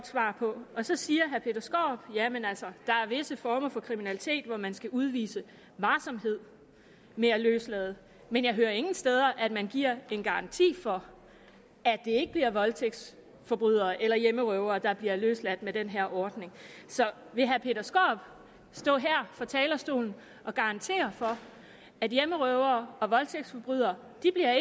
svar på og så siger herre peter skaarup jamen altså der er visse former for kriminalitet hvor man skal udvise varsomhed med at løslade men jeg hører ingen steder at man giver en garanti for at det ikke bliver voldtægtsforbrydere eller hjemmerøvere der bliver løsladt efter den her ordning vil herre peter skaarup stå her fra talerstolen og garantere at hjemmerøvere og voldtægtsforbrydere